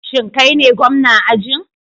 Shin kai ne gwamna ajin?